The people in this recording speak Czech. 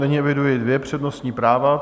Nyní eviduji dvě přednostní práva.